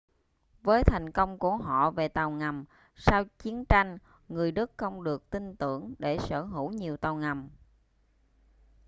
với thành công của họ về tàu ngầm sau chiến tranh người đức không được tin tưởng để sở hữu nhiều tàu ngầm